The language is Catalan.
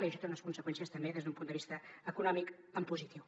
i això té unes conseqüències també des d’un punt de vista econòmic en positiu